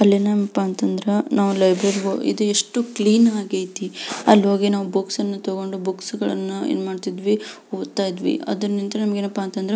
ಅಲ್ಲೆನಪ್ಪ ಅಂತ ಅಂದ್ರೆ ನಾವು ಲೈಬ್ರೆರಿ ಹೋಗಿ ಇದು ಎಷ್ಟು ಕ್ಲೀನ್ ಆಗೇತಿ ನಾವು ಅಲಿ ಹೋಗಿ ಬುಕ್ಸ್ ಅನ್ನು ತಗೊಂಡು ಬುಕ್ ಗಳನ್ನ ಎನ್ ಮಾಡ್ತಿದ್ವಿ ಓದ್ತಿದ್ವಿ.